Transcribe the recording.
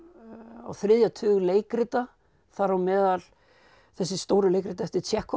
á þriðja tug leikrita þar á meðal þessi stóru leikrit eftir